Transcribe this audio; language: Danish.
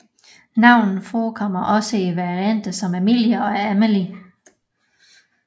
Navnet forekommer også i varianter som Emilia og Emily